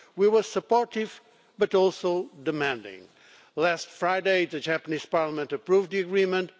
We were supportive but also demanding. Last Friday, the Japanese Parliament approved the agreement.